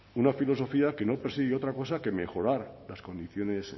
una filosofía que no persigue otra cosa que mejorar las condiciones